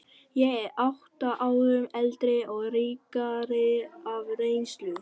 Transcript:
Ég er átta árum eldri og ríkari af reynslu.